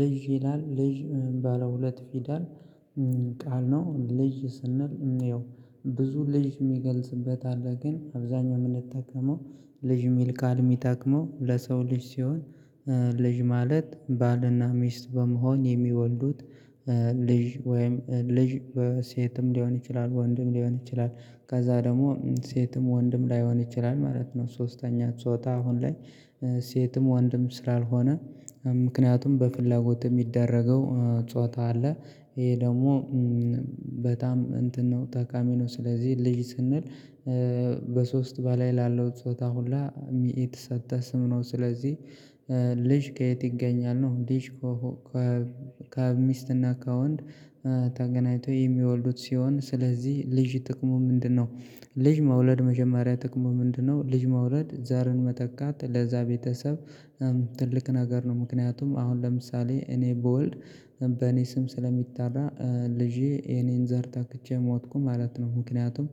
ልጅ ይላል ልጅ ባለ ሁለት ፊደል ቃል ነው። ልጅ ስንል እንየው ብዙ ልጅ የሚገልጽበት አለ ግን አብዛኛው የምንጠቀመው ልጅ የሚል ቃል የሚጠቅመው ለሰው ልጅ ሲሆን። ልጅ ማለት ባልና ሚስት በመሆን የሚወልዱት ልጅ ወይም ልጅ ሴትም ሊሆን ይችላል ወንድም ሊሆን ይችላል ከዛ ደግሞ ሴትም ወንድም ላይሆን ይችላል ማለት ነው። ሶስተኛ ጾታ አሁን ላይ ሴትም ወንድም ስላልሆነ ምክንያቱም በፍላጎት የሚደረገው ጾታ አለ። ይሄ ደግሞ በጣም እንትን ነው ጠቃሚ ነው። ስለዚህ ልጅ ስንል በሶስት በላይ ላለው ጾታ ሁላ ሚኢት የተሰጥህ ስም ነው። ስለዚህ ልጅ ከየት ይገኛል ነው። ልጅ ከሚስትና ከወንድ ተገናኝቶ የሚወልዱት ሲሆን ስለዚህ ልጅ ጥቅሙ ምንድነው? ልጅ መውለድ መጀመሪያ ጥቅሙ ምንድነው? ልጅ መውለድ ዘርን መተካት ለዛ ቤተሰብ ትልቅ ነገር ነው። ምክንያቱም አሁን ለምሳሌ እኔ ብወልድ በእኔ ስም ስለሚጠራ ልጄ የኔን ዘር ተክቼ ሞትኩ ማለት ነው። ምክንያቱም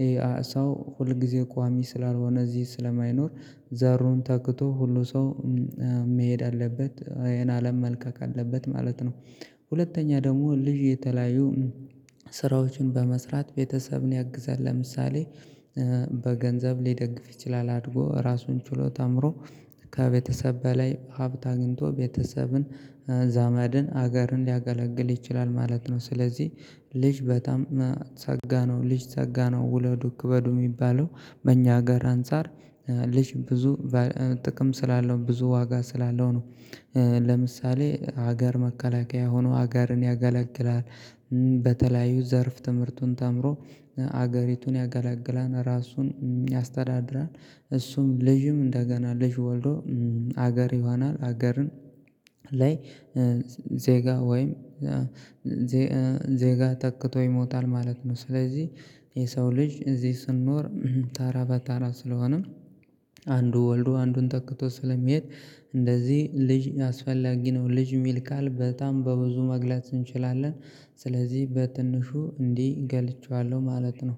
ይሄ ሰው ሁል ጊዜ ቋሚ ስላልሆነ እዚህ ስለማይኖር ዘሩን ተክቶ ሁሉ ሰው መሄድ አለበት ይሄን አለም መልቀቅ አለበት ማለት ነው። ሁለተኛ ደግሞ ልጅ የተለያዩ ስራዎችን በመስራት ቤተሰብን ያግዛል። ለምሳሌ በገንዘብ ሊደግፍ ይችላል አድጎ ራሱን ችሎ ተምሮ ከቤተሰብ በላይ ሀብት አግኝቶ ቤተሰብን ዘመድን ሀገርን ሊያገለግል ይችላል ማለት ነው። ስለዚህ ልጅ በጣም ፀጋ ነው ልጅ ፀጋ ነው ውለዱ ክበዱ የሚባለው በእኛ ሀገር አንፃር ልጅ ብዙ ጥቅም ስላለው ብዙ ዋጋ ስላለው ነው። ለምሳሌ ሀገር መከላከያ ሆኖ ሀገርን ያገለግላል። በተለያዩ ዘርፍ ትምህርቱን ተምሮ አገሪቱን ያጋላግላል ራሱን ያስተዳድራል። እሱም ልጅም እንደገና ልጅ ወልዶ አገር ይሆናል አገርን ላይ ዜጋ ወይም ዜጋ ተክቶ ይሞታል ማለት ነው። ስለዚህ የሰው ልጅ እዚህ ስንኖር ተራ በተራ ስለሆነም አንዱ ወልዶ አንዱን ተክቶ ስለሚሄድ እንደዚህ ልጅ አስፈላጊ ነው። ልጅ የሚል ቃል በጣም በብዙ መግለጽ እንችላለን ስለዚህ በትንሹ እንዲህ ገልጨዋለሁ ማለት ነው።